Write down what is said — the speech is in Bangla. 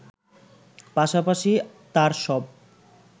পাশাপাশি তার সব